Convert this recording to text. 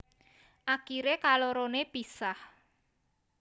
Akiré kaloroné pisah